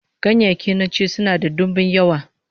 Ganyayyaki na ci sunan da dimbin yawa